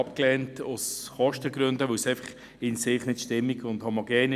Das Projekt war einfach nicht in sich stimmig und homogen.